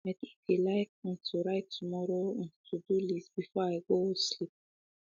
i de de like um to write tomorrow um todo list before i go um sleep